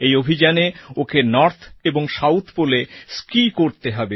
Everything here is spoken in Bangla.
এই অভিযানে ওকে নর্থ এবং সাউথ পোলএ স্কিও করতে হবে